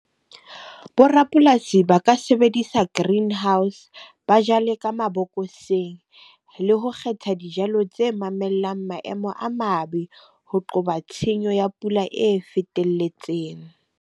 Borapolasi ba ka sebedisa greenhouse ba jale ka mabokoseng, le ho kgetha dijalo tse mamellang maemo a mabe. Ho qoba tshenyo ya pula e fetelletseng.